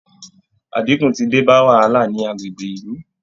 Àdínkù ti dé bá wàhálà ní agbègbè ìlú